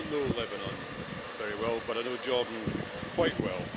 I do not know Lebanon very well, but I know Jordan quite well.